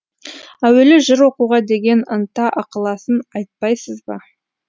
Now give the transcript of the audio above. әуелі жыр оқуға деген ынта ықыласын айтпайсыз ба